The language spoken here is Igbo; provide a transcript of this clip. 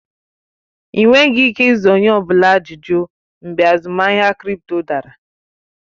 Ị nweghị ike ịza onye ọ bụla ajụjụ mgbe azụmahịa krịpto dara